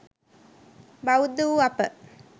බෞද්ධ වූ අප